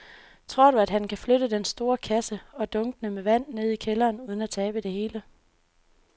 Tror du, at han kan flytte den store kasse og dunkene med vand ned i kælderen uden at tabe det hele?